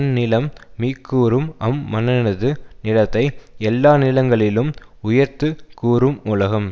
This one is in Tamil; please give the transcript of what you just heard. நிலம் மீக்கூறும் அம் மன்னனது நிலத்தை எல்லா நிலங்களிலும் உயர்த்து கூறும் உலகம்